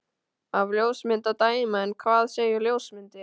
Af ljósmynd að dæma. en hvað segja ljósmyndir?